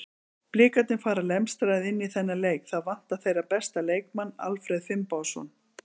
Blikarnir fara lemstraðir inn í þennan leik, það vantar þeirra besta leikmann Alfreð Finnbogason.